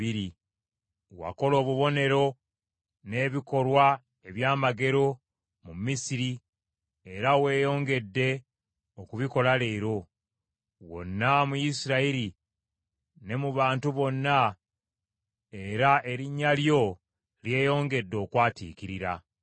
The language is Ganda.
Wakola obubonero n’ebikolwa ebyamagero mu Misiri era weeyongedde okubikola leero, wonna mu Isirayiri ne mu bantu bonna era erinnya lyo lyeyongedde okwatiikirira.